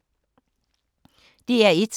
DR1